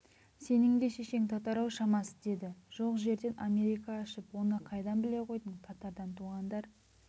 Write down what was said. сенің де шешең татар-ау шамасы деді жоқ жерден америка ашып оны қайдан біле қойдың татардан туғандар